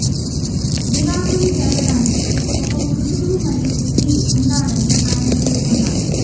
వివాహం జరగడానికి ఒక పురుషుడు మరియు స్త్రీ ఉండాలని ఆయన పేర్కొన్నారు